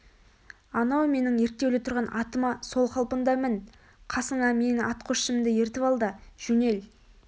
анау менің ерттеулі тұрған атыма сол қалпында мін қасыңа менің атқосшымды ертіп алда жөнел